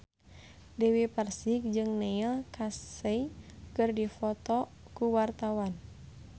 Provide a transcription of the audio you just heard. Dewi Persik jeung Neil Casey keur dipoto ku wartawan